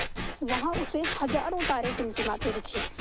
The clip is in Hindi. वहाँ उसे हज़ारों तारे टिमटिमाते दिखे